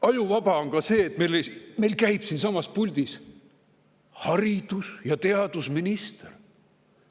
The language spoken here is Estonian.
Ajuvaba on ka see, et meil käib siinsamas puldis haridus- ja teadusminister.